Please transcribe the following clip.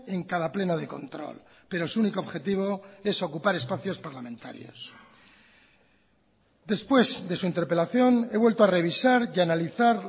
en cada pleno de control pero su único objetivo es ocupar espacios parlamentarios después de su interpelación he vuelto a revisar y analizar